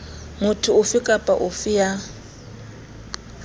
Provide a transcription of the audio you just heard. motho ofe kapa ofe ya